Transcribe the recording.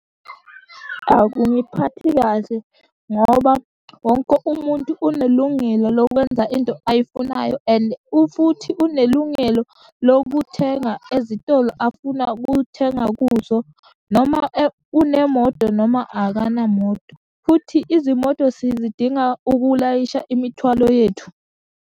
Akungiphathi kahle, ngoba wonke umuntu unelungelo lokwenza into ayifunayo, and ufuthi unelungelo lokuthenga ezitolo afuna kuthenga kuzo, noma unemoto noma akanamoto, futhi izimoto sizidinga ukulayisha imithwalo yethu.